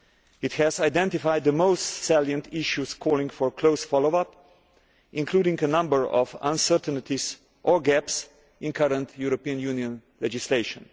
It has identified the most salient issues calling for close follow up, including a number of uncertainties or gaps in current EU legislation.